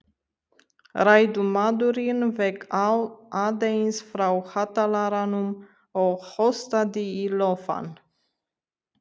Ræðumaðurinn vék aðeins frá hátalaranum og hóstaði í lófann.